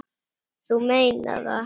Þú meinar það?